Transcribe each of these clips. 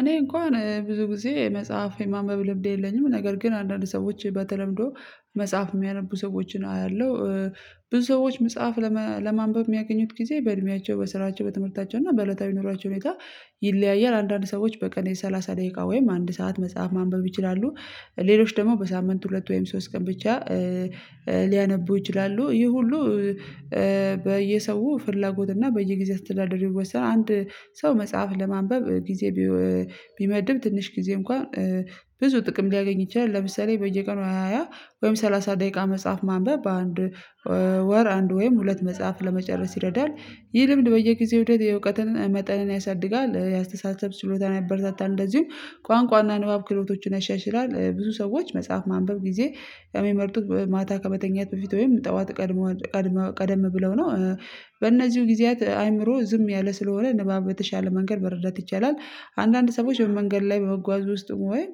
እኔ እንኳን ብዙ ጊዜ መጽሐፍ የማንበብ ልምድ የለኝም ነገር ግን አንዳንድ ሰዎች በተለምዶ መጽሐፍ የሚያነቡ ሰዎችን አያለው። ብዙ ሰዎች መጽሐፍ ለማንበብ የሚያገኙት ጊዜ በእድሜያቸው በስራቸው በትምህርታቸው እና በእለታዊ ኑሯቸው ሁኔታ ይለያያል አንዳንድ ሰዎች በቀን የሠላሳ ደቂቃ ወይም አንድ ሰዓት መጽሐፍ ማንበብ ይችላሉ። ሌሎች ደግሞ በሳምንት ሁለት ወይም ሶስት ቀን ብቻ ሊያነቡ ይችላሉ ይሆ ሁሉ። በየሰው ፍላጎት እና በየጊዜ አስተዳደር ይወሰናል። አንድ ሰው መጽሐፍ ለማንበብ ጊዜ ቢመድብ ትንሽ ጊዜ እንኳን ብዙ ጥቅም ሊያገኝ ይችላል። ለምሳሌ በየቀኑ ሃያ ወይም ሰላሳ ደቂቃ መጽሐፍ ማንበብ በአንድ በወር አንድ ወይም ሁለት መጽሐፍ ለመጨረስ ይረዳል። ይህ ልምድ በየጊዜው የእውቀትን መጠንን ያሳድጋል የአስተሳሰብ ችሎታን ያበረታታል እንደዚሁም ቋንቋና ንባብ ክህሎቶችን ያሻሽላል። ብዙ ሰዎች መጽሐፍ ማንበብ ጊዜ የሚመርጡት ማታ ከመተኛት በፊት ወይም ጠዋት ቀድመዋ ቀድመው ቀደም ብለው ነው። በእነዚሁ ጊዜያት አእምሮ ዝም ያለ ስለሆነ ንባብ በተሻለ መንገድ መረዳት ይቻላል። አንዳንድ ሰዎች በመንገድ ላይ በመጓዝ ውስጥ ወይ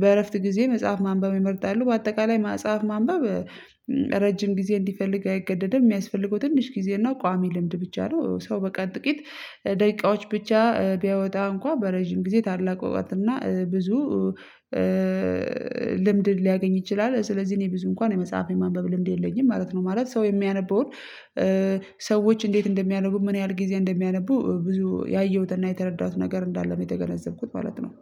በእረፍት ጊዜ መጽሐፍ ማንበብ ይመርጣሉ። በአጠቃላይ መጽሐፍ ማንበብ ረጅም ጊዜ እንዲፈልግ አይገደድም የሚያስፈልገው ትንሽ ጊዜ እና ቋሚ ልምድ ብቻ ነው። ሰው በቃ ጥቂት ደቂቃዎች ብቻ ቢያወጣ እንኳን በረጅም ጊዜ ታላቅ እውቀትና ብዙ ልምድ ሊያገኝ ይችላል። ስለዚህ እኔ ብዙ እንኳን የመጽሐፍ የማንበብ ልምድ የለኝም ማለት ነው። ማለት ሰው የሚያነበውን ሰዎች እንዴት እንደሚያነቡ ምን ያህል ጊዜ እንደሚያነቡ ብዙ ያየሁትና የተረዳሁት ነገር እንዳለ ነው የተገነዘብኩት ማለት ነው